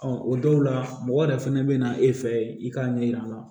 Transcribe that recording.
o dɔw la mɔgɔ yɛrɛ fɛnɛ bɛ na e fɛ i k'a ɲɛ yir'a la